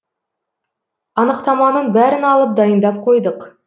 анықтаманың бәрін алып дайындап қойдық